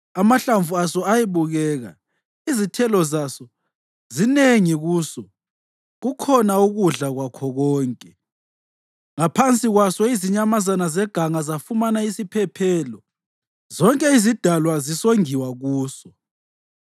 Amahlamvu aso ayebukeka, izithelo zaso zinengi kuso kukhona ukudla kwakho konke. Ngaphansi kwaso izinyamazana zeganga zafumana isiphephelo lezinyoni zemoyeni zazihlala emagatsheni aso; zonke izidalwa zisongiwa kuso.